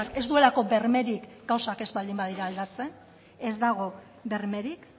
ez duelako bermerik gauza ez baldin badira aldatzen ez dago bermerik